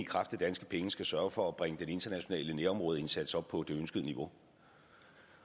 kraft af danske penge skal sørge for at bringe den internationale nærområdeindsats op på det ønskede niveau